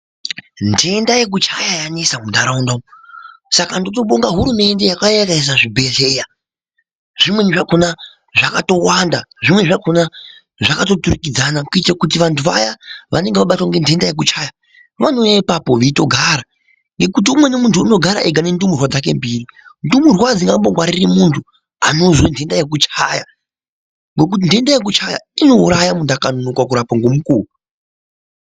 Ntenda yekuchaya yanesa muntaraunda umu. Saka ndotobonga hurumende yakauya ikaisa zvibhedhlera. Zvimweni zvakona zvakatowanda, zvimweni zvakona zvakatoturikidzana kuitira kuti vantu vaya vanenge vabatwa ngentenda yekuchaya vanouye ipapo veitogara. Ngekuti umweni muntu unogara ega nendumurwa dzake mbiri ndumurwa adzingambongwariri muntu anozwe ntenda yekuchaya ngekuti ntenda yekuchaya inouraya muntu akanonoka kurapwa ngemukuwo.